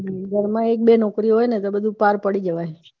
હમ ઘર માં એક બે નોકરીઓ હોઈ ને તો બધું પર પડી જવાય